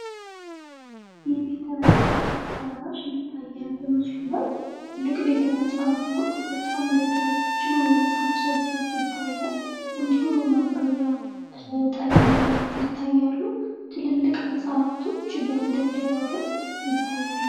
የቤተ መጽሃፍ አዳራሽ ይታያል በምስሉ ላይ። ትልቅ ቤተ መጽሐፍ ነው። በጣም ረጃጅም የመጽሃፍ ሰልፎች ይታያሉ። እንዲሁም የማንበቢያ ጠረንጴዛዎች ይታያሉ። ትልልቅ መጽሃፍቶች በመደርደሪያው ላይ ይታያሉ።